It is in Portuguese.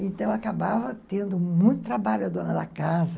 Então, acabava tendo muito trabalho a dona da casa.